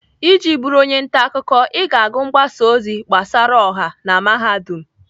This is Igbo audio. Iji bụrụ onye ntaakụkọ, ị ga-agụ mgbasa ozi gbasara ọha na Mahadum.